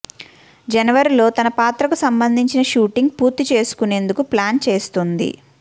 జనవరిలో తన పాత్రకు సంబంధించిన షూటింగ్ పూర్తి చేసుకునేందుకు ప్లాన్ చేస్తోంది